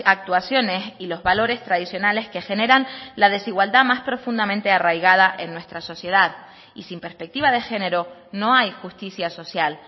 actuaciones y los valores tradicionales que generan la desigualdad más profundamente arraigada en nuestra sociedad y sin perspectiva de género no hay justicia social